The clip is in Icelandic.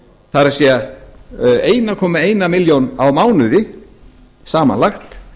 það er einn komma eina milljón á mánuði samanlagt